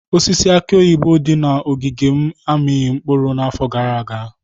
Osisi aki oyibo dị na ogige m amịghị mkpụrụ n'afọ gara aga.